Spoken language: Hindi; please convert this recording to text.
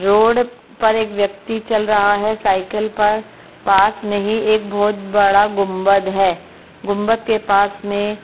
रोड पर एक व्यक्ति चल रहा है साइकिल पर पास मे ही एक बहुत बड़ा गुंबद है गुंबद के पास मे --